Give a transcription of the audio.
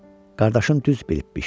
Qardaşım düz bilibmiş.